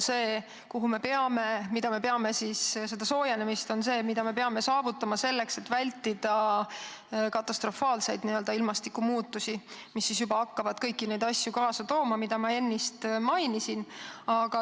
Alla 1,5 kraadi soojenemist on see, mis me peame saavutama, et vältida katastrofaalseid ilmastikumuutusi, mis hakkaksid kaasa tooma kõiki neid asju, mida ma ennist mainisin.